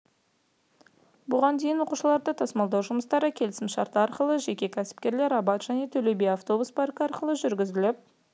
бұған дейін оқушыларды тасымалдау жұмыстары келісім-шарт арқылы жеке кәсіпкерлер абад және төлеби автобус паркі арқылы жүргізіліп